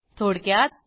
थोडक्यात